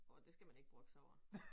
Åh det skal man ikke brokke sig over